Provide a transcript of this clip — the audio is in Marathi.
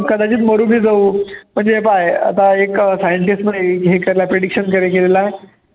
कदाचित मरून बी जाऊ पण हे पाह्य आता एक scientist मध्ये prediction carry केलेलं आहे